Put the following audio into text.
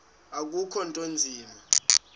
akukho nto inzima